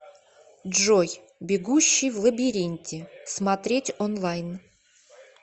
джой бегущий в лабиринте смотреть онлайн